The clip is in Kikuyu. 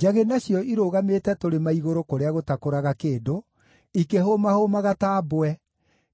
Njagĩ nacio irũgamĩte tũrĩma-igũrũ kũrĩa gũtakũraga kĩndũ, ikĩhũmahũmaga ta mbwe;